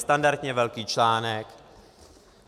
Standardně velký článek.